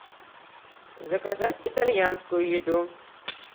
заказать итальянскую еду